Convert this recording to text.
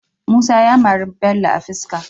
Musa ya mari Bello a fiska